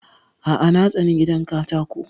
A'a na tsani gidan katako